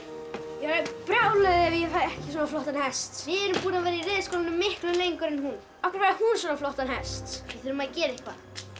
ég verð brjáluð ef ég fæ ekki svona flottan hest við erum búnar að vera í reiðskólanum miklu lengur en hún af hverju fær hún svona flottan hest við þurfum að gera eitthvað